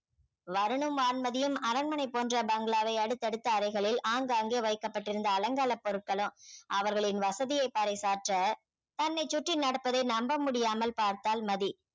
வருணும் வான்மதியும் அரண்மனை போன்ற பங்களாவை அடுத்தடுத்த அறைகளில் ஆங்காங்கே வைக்கப்பட்டிருந்த அலங்காரப் பொருட்களும் அவர்களின் வசதியை பறைசாற்ற தன்னைச் சுற்றி நடப்பதை நம்ப முடியாமல் பார்த்தாள் மதி